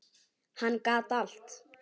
Hann gat allt.